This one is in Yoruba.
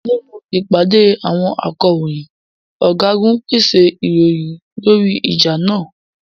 Nínú ìpàdé àwọn akọ̀ròyìn, ọ̀gágun pèsè ìròyìn lórí ìjà náà.